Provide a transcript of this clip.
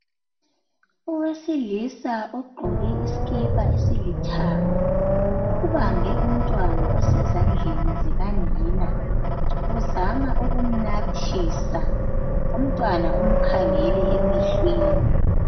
Owesilisa ogqoke isikipa esilithanga ubambe umntwana osezandleni zikanina. Uzama ukumnathisa, umntwana umkhangele emehlweni.